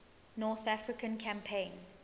north african campaign